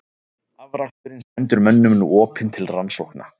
Afraksturinn stendur mönnum nú opinn til rannsókna.